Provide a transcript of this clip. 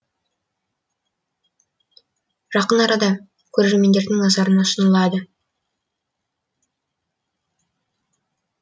жақын арада көрермендердің назарына ұсынылады